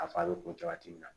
A fa bɛ kun cogoya min na